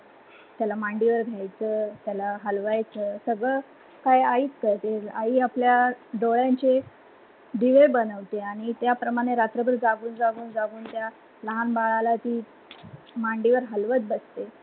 त्याला मांडीवर घायचं, त्याला हलवायच सगल काही आईच करते. आई आपल्या डोळ्यांचे दिवे बनवते आणि त्या प्रमाणे रात्रभर जागुन जागुन लहान बाळाला ती मांडीवर हलवत बसते.